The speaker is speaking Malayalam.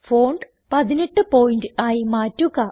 ഫോണ്ട് 18 പോയിന്റ് ആയി മാറ്റുക